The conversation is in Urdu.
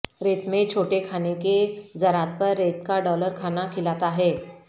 ریت میں چھوٹے کھانے کے ذرات پر ریت کا ڈالر کھانا کھلاتا ہے